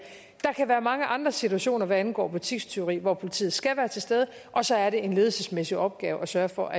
kan være mange andre situationer hvad angår butikstyveri hvor politiet skal være til stede og så er det en ledelsesmæssig opgave at sørge for